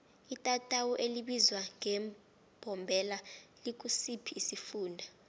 itatawu elibizwa ngembombela likusiphi isifunda